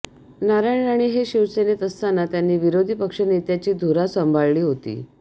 नारायण राणे हे शिवसेनेत असताना त्यांनी विरोधी पक्षनेत्याची धुरा सांभाळली होती